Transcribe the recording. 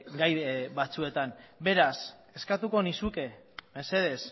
gai batzuetan beraz eskatuko nizuke mesedez